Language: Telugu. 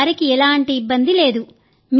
మా వారికి ఎలాంటి ఇబ్బంది లేదు